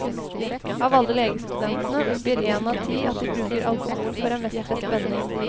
Av alle legestudentene, oppgir en av ti at de bruker alkohol for å mestre spenning.